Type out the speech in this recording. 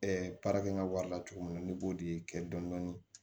baara kɛ n ka wari la cogo min na ne b'o de kɛ dɔni